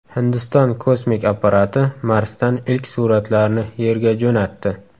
Hindiston kosmik apparati Marsdan ilk suratlarni Yerga jo‘natdi.